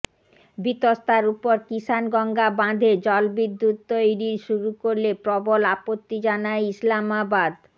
বিতস্তার উপর কিষাণগঙ্গা বাঁধে জলবিদ্যুত্ তৈরি শুরু করলে প্রবল আপত্তি জানায় ইসলামাবাদ